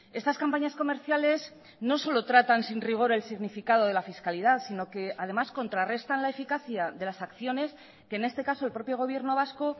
estas campañas comerciales no solo tratan sin rigor el significado de la fiscalidad sino que además contrarrestan la eficacia de las acciones que en este caso el propio gobierno vasco